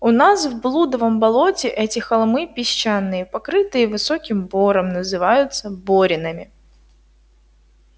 у нас в блудовом болоте эти холмы песчаные покрытые высоким бором называются боринами